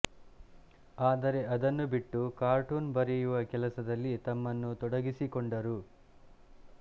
ಆದರೆ ಅದನ್ನು ಬಿಟ್ಟು ಕಾರ್ಟೂನ್ ಬರೆಯುವ ಕೆಲಸದಲ್ಲಿ ತಮ್ಮನ್ನು ತೊಡಗಿಸಿಕೊಂಡರು